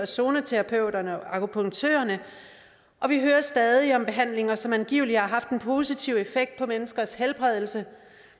zoneterapeuterne og akupunktørerne og vi hører stadig om behandlinger som angiveligt har haft en positiv effekt på menneskers helbredelse